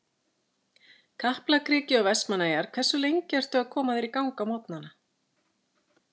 Kaplakriki og Vestmannaeyjar Hversu lengi ertu að koma þér í gang á morgnanna?